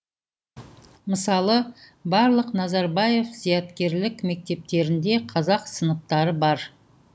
мысалы барлық назарбаев зияткерлік мектептерінде қазақ сыныптары бар